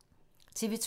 TV 2